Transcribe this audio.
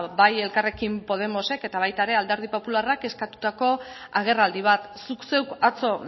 bai elkarrekin podemosek eta baita alderdi popularrak eskatutako agerraldi bat zuk zeuk atzo